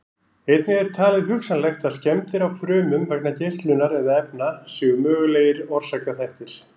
Einnig er talið hugsanlegt að skemmdir á frumum vegna geislunar eða efna séu mögulegir orsakaþættir.